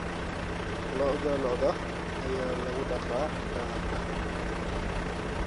Dhaqdhaqaaqa lo'da ee raadinta daaqa ayaa saameeya tayada hilibka.